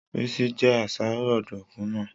Rísí je àsáró ọ̀dùnkún náà